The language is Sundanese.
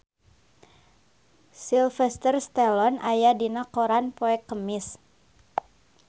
Sylvester Stallone aya dina koran poe Kemis